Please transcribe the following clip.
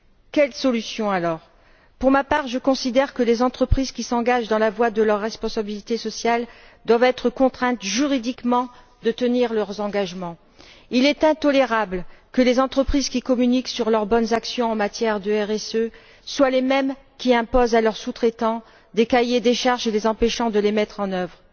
Quelle solution alors? Pour ma part, je considère que les entreprises qui s'engagent dans la voie de la responsabilité sociale doivent être contraintes juridiquement de tenir leurs engagements. Il est intolérable que les entreprises qui communiquent sur leurs bonnes actions en matière de RSE soient les mêmes qui imposent à leurs sous traitants des cahiers des charges les empêchant de les mettre en œuvre.